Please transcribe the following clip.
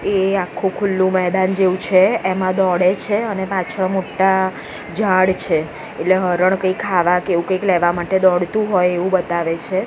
એ આખુ ખુલ્લું મેદાન જેવું છે એમાં દોડે છે અને પાછળ મોટ્ટા ઝાડ છે એટલે હરણ કંઈ ખાવા કે એવુ કંઈક લેવા માટે દોડતું હોય એવું બતાવે છે.